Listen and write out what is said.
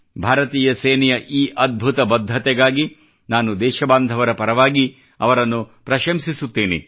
ಭಾರತೀಯ ಸೇನೆಯ ಈ ಅದ್ಭುತ ಬದ್ಧತೆಗಾಗಿ ನಾನು ದೇಶಬಾಂಧವರ ಪರವಾಗಿ ಅವರನ್ನು ಪ್ರಶಂಸಿಸುತ್ತೇನೆ